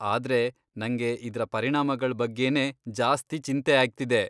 ಆದ್ರೆ ನಂಗೆ ಇದ್ರ ಪರಿಣಾಮಗಳ್ ಬಗ್ಗೆನೇ ಜಾಸ್ತಿ ಚಿಂತೆ ಆಗ್ತಿದೆ.